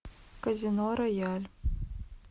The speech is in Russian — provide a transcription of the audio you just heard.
казино рояль